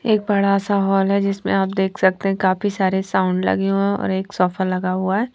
यह बड़ा सा हॉल है जिसमे आप देख सकते है काफी सारे साउंड लगे हुए है और एक सोफा लगा हुआ है।